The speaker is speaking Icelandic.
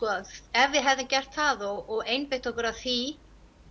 ef við hefðum gert það og einbeitt okkur að því